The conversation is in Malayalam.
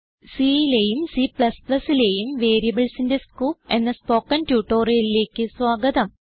C ലെയും C ലെയും വേരിയബിൾസിന്റെ സ്കോപ്പ് എന്ന സ്പോകെൻ ട്യൂട്ടോറിയലിലേക്ക് സ്വാഗതം